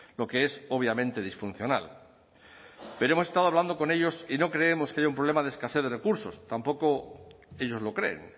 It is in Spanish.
lo que es obviamente disfuncional pero hemos estado hablando con ellos y no creemos que haya un problema de escasez de recursos tampoco ellos lo creen